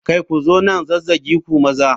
Kai! Ku zo nan zazzage ku maza.